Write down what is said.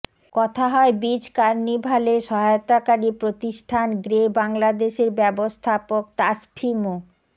কথা হয় বিচ কার্নিভালে সহায়তাকারি প্রতিষ্ঠান গ্রে বাংলাদেশের ব্যবস্থাপক তাসফি মো